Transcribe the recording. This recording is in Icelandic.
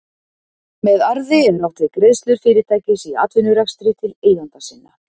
Með arði er átt við greiðslur fyrirtækis í atvinnurekstri til eigenda sinna.